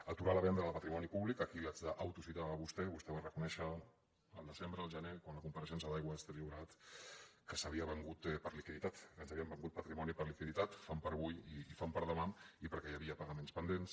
aturar la venda del patrimoni públic aquí l’haig d’au·tocitar a vostè vostè va reconèixer el desembre el ge·ner arran de la compareixença d’aigües ter llobre·gat que s’havia venut per liquiditat que ens havíem venut patrimoni per liquiditat fam per avui i fam per demà i perquè hi havia pagaments pendents